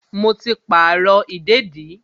Mo ti pàrọ̀ ìdèdí